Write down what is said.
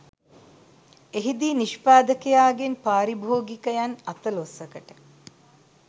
එහිදී නිෂ්පාදකයාගෙන් පාරිභෝගිකයන් අතළොස්සකට